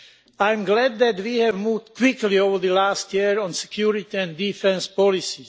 I am glad that we have moved quickly over the last year on security and defence policy.